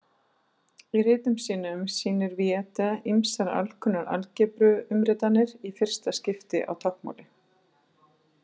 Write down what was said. Í ritum sínum sýnir Viete ýmsar alkunnar algebruumritanir í fyrsta skipti á táknmáli.